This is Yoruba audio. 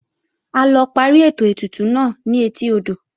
A lọ parí ètò ètùtù náà ni etí odò